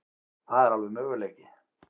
Það er alveg möguleiki.